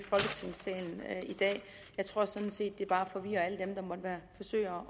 dag jeg tror sådan set at det bare forvirrer alle dem der måtte forsøge